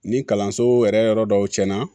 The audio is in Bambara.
Ni kalanso yɛrɛ yɔrɔ dɔw cɛ la